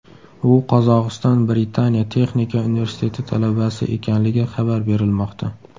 U Qozog‘iston-Britaniya texnika universiteti talabasi ekanligi xabar berilmoqda.